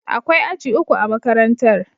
Akwai aji uku a makarantar.